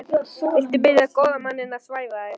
Viltu biðja góða manninn að svæfa þig?